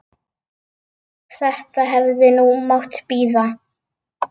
Þetta hefði nú mátt bíða.